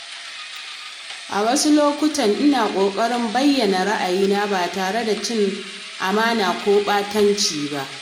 A wasu lokuta, ina ƙoƙarin bayyana ra’ayina ba tare da cin amana ko ɓatanci ba.